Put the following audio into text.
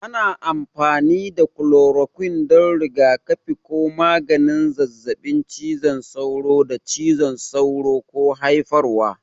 Ana amfani da kulorokwin don rigakafi ko maganin zazzabin cizon sauro da cizon sauro ke haifarwa.